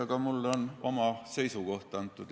Aga mul on antud juhul oma seisukoht.